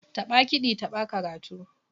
Taɓa kiɗi taɓa karatu